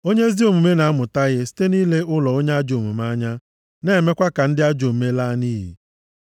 Onye ezi omume na-amụta ihe site nʼile ụlọ onye ajọ omume anya na-emekwa ka ndị ajọ omume laa nʼiyi.